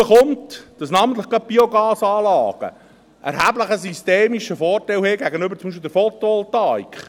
Dazu kommt, dass namentlich gerade die Biogasanlagen einen erheblichen systemischen Vorteil haben, beispielsweise gegenüber der Photovoltaik.